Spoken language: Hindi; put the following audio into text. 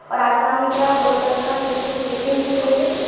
और आसमान दिख रहा है ब्लू कलर का। नीचे कुछ मिटी सी दिख रही है।